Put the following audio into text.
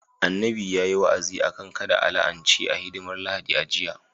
Annabi yayi wa'azi akan kada a la'ance a hidimar Lahadi a jiya